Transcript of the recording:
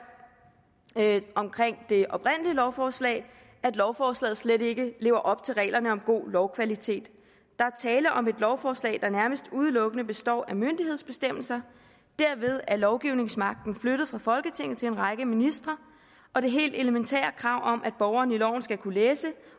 omkring det oprindelige lovforslag at lovforslaget slet ikke lever op til reglerne om god lovkvalitet der er tale om et lovforslag der nærmest udelukkende består af myndighedsbestemmelser og derved er lovgivningsmagten flyttet fra folketinget til en række ministre og det helt elementære krav om at borgeren i loven skal kunne læse